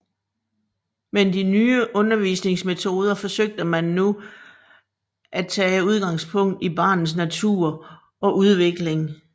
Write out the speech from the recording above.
Men de nye undervisningsmetoder forsøgte man nu at tage udgangspunkt i barnets natur og udvikling